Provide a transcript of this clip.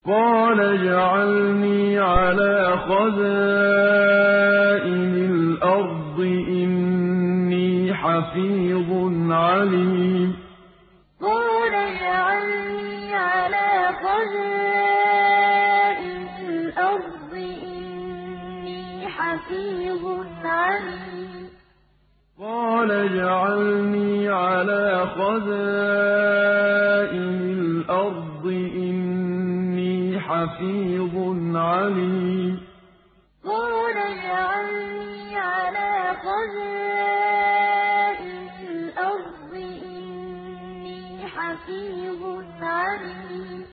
قَالَ اجْعَلْنِي عَلَىٰ خَزَائِنِ الْأَرْضِ ۖ إِنِّي حَفِيظٌ عَلِيمٌ قَالَ اجْعَلْنِي عَلَىٰ خَزَائِنِ الْأَرْضِ ۖ إِنِّي حَفِيظٌ عَلِيمٌ